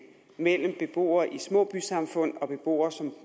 mellem beboere i små bysamfund og beboere som